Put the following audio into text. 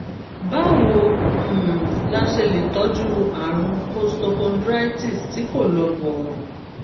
báwo um la ṣe lè tọ́jú àrùn costochondritis tí kì í lọ bọ̀rọ̀?